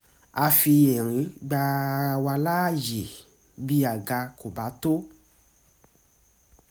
a fi ẹ̀rín gba ara wa laye bí àga kò bá tó